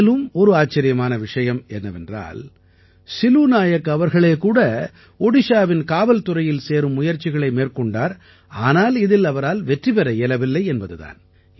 மேலும் ஒரு வியப்பான விஷயம் என்னவென்றால் சிலூ நாயக் அவர்களே கூட ஒடிஷாவின் காவல்துறையில் சேரும் முயற்சிகளை மேற்கொண்டார் ஆனால் இதில் இவரால் வெற்றி பெற இயலவில்லை என்பது தான்